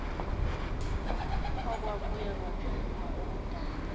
okwabuye kwaphenduka ukudana